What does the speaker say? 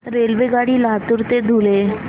रेल्वेगाडी लातूर ते धुळे